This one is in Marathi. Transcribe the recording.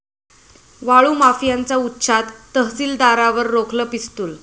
वाळू माफियांचा उच्छाद, तहसीलदारावर रोखलं पिस्तुल